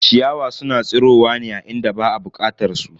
Ciyawa suna tsirowa ne a inda ba a bukatar su.